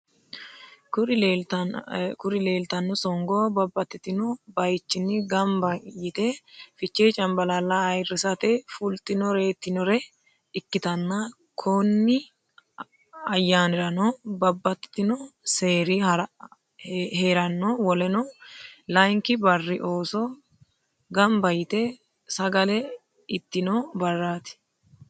Kuri lelitano songgo babatitino bayichinni ganibba yitee fichee caniballala ayiraste fulitinoretinore ikitana kooni ayanirano babtitino serri herano woleno layiniki barri osoo ganiba yitte sagale itno barrati.